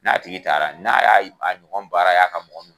N'a tigi taara n'a y'a ɲɔgɔn baara y'a ka